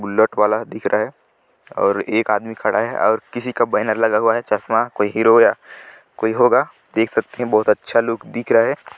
Bullet वाला है दिख रहा है और एक आदमी खड़ा है और किसी का बैरन लगा हुआ है चस्मा कोई होरी या कोई होगा देख सकते है बहुत अच्छा लु दिख रहा है ।